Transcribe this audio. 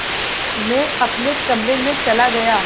मैं अपने कमरे में चला गया